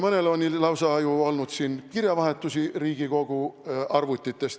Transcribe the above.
Mõnel on ju olnud lausa kirjavahetus Riigikogu arvutist.